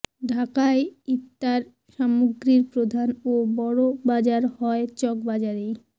ঢাকায় ইফতার সামগ্রীর প্রধান ও বড় বাজার হয় চকবাজারেই